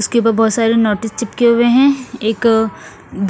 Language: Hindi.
इसके भी ब बहोत सारे नोटिस चिपके हुए है एक